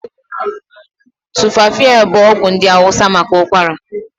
Tumfafiya bụ ọgwụ ndị hausa maka ọgwụgwọ ụkwara.